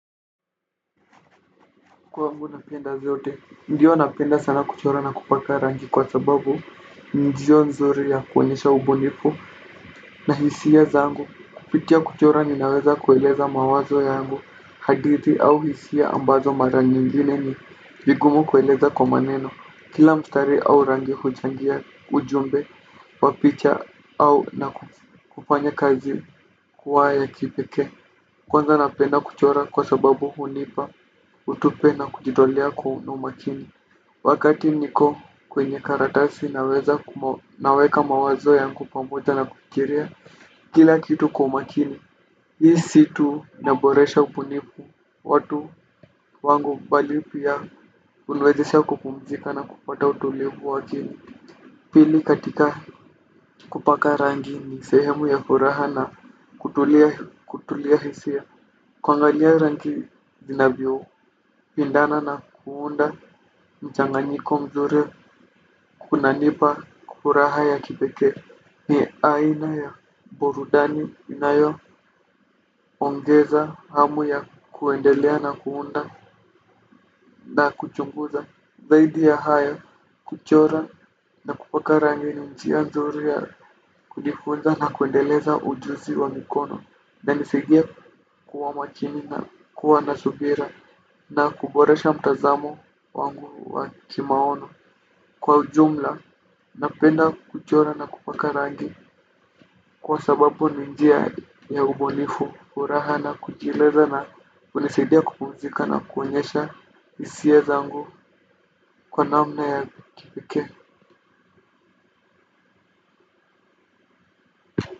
Kwangu napenda zote, ndiyo napenda sana kuchora na kupaka rangi kwa sababu ni njia nzuri ya kuonyesha ubunifu na hisia zangu. Kupitia kuchora ninaweza kueleza mawazo yangu, hadithi au hisia ambazo mara nyingine ni vigumu kueleza kwa maneno. Kila mstari au rangi huchangia ujumbe, papicha au na kufanya kazi kuwa ya kipekee. Kwanza napenda kuchora kwa sababu hunipa hutupe na kujitolea kwa unumakini. Wakati niko kwenye karatasi naweza naweka mawazo yako pamoja na kufikiria. Kila kitu kwa umakini. Hii si tu naboresha ubunifu watu wangu bali pia huniwezesha kupumzika na kupata utulivu wa akili. Pili katika kupaka rangi ni sehemu ya furaha na kutulia hisia. Kuangalia rangi zinavyo, pindana na kuunda mchanganyiko mzuri kunanipa furaha ya kipekee. Ni aina ya burudani inayoongeza hamu ya kuendelea na kuunda na kuchunguza. Zaidi ya haya kuchora na kupaka rangi ni njia nzuri ya kujifunza na kuendeleza ujuzi wa mikono inanisaidia kuwa makini na kuwa na subira na kuboresha mtazamo wangu wa kimaono kwa ujumla napenda kuchora na kupaka rangi kwa sababu ni njia ya ubunifu, furaha na kujieleza na hunisaidia kupuzika na kuonyesha hisia zangu kwa namna ya kipekee.